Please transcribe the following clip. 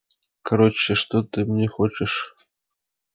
короче что ты мне хочешь